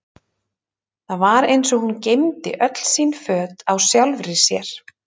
Það var eins og hún geymdi öll sín föt á sjálfri sér.